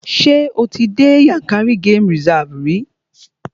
Ṣé o ti dé Yànkárí game reserve rí?